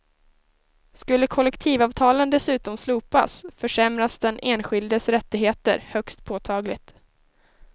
Skulle kollektivavtalen dessutom slopas försämras den enskildes rättigheter högst påtagligt.